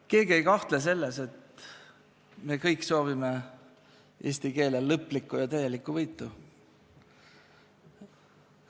Keegi ei kahtle selles, et me kõik soovime eesti keele lõplikku ja täielikku võitu.